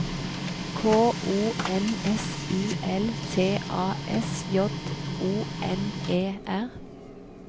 K O N S U L T A S J O N E R